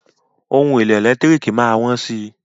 Ohun èlò ẹ̀lẹ́tírìkì má á wọ́n si.